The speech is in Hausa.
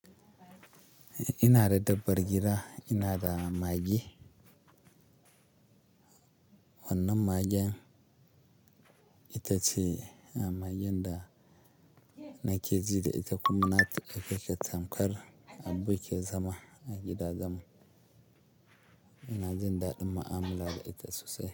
Ina da dabbar gida, ina da magi. Wannan magen ita ce magen da nake ji da ita kuma na tuka keta tamkar aboki ke zama a gidaɗan mu. Ina jin daɗin mu'amala da ita sosai.